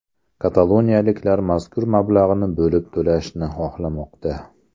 Kataloniyaliklar mazkur mablag‘ni bo‘lib to‘lashni xohlamoqda.